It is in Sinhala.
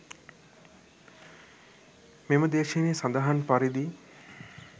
මෙම දේශනයේ සඳහන් පරිදි